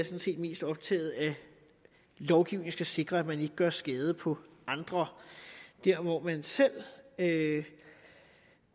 set mest optaget af at lovgivning skal sikre at man ikke gør skade på andre der hvor man selv